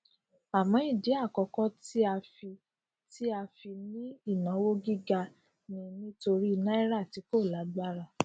àmọ ìdí àkọkọ tí a fi tí a fi ní ìnáwó gíga ni nítorí náírà tí kò lágbára